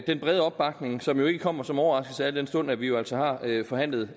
den brede opbakning som jo ikke kommer som nogen overraskelse al den stund at vi altså har forhandlet